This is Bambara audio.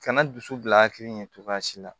Kana dusu bila hakili ɲɛ cogoya si la